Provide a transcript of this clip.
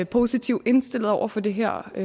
positivt indstillet over for det her